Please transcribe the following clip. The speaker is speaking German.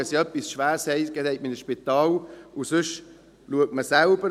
Wenn man etwas Schwerwiegendes hat, geht man ins Spital, und sonst macht man es selbst.